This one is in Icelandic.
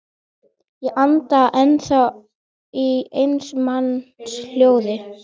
Enn fundu þrjú þýsk skip hér athvarf næstu daga.